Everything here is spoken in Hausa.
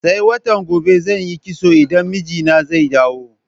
Sai watan gobe zan yi kitso idan mijina zai dawo.